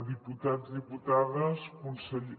diputats diputades conseller